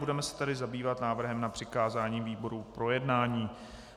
Budeme se tedy zabývat návrhem na přikázání výborům k projednání.